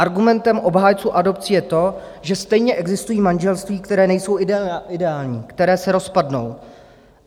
Argumentem obhájců adopcí je to, že stejně existují manželství, která nejsou ideální, která se rozpadnou.